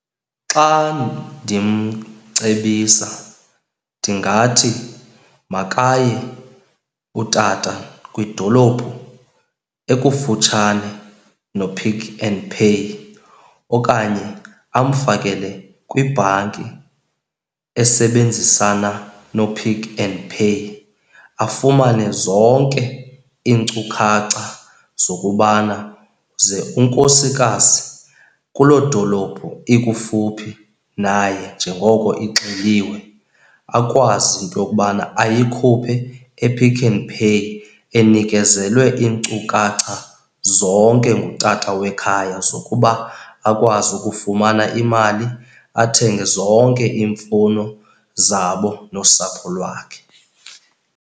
Xa ndimcebisa ndingathi makaye utata kwidolophu ekufutshane noPick n Pay okanye amfakele kwibhanki esebenzisana noPick n Pay. Afumane zonke iinkcukacha zokubana ze unkosikazi kuloo dolophu ikufuphi naye njengoko ixeliwe, akwazi ke into yokubana ayikhuphe ePick n Pay, enikezelwe iinkcukacha zonke ngutata wekhaya zokuba akwazi ukufumana imali, athenge zonke iimfuno zabo nosapho lwakhe.